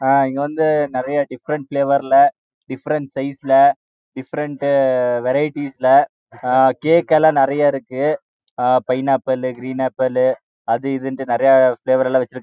அத இங்க வந்து டிபிபிறேன்ட் வரிடிஸ் லே கேக் லாம் நெறைய இருக்கு பினெகாப்பிலே னு நெறைய பாவொஉர் லே இருக்கு